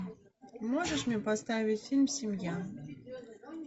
можешь мне поставить фильм семья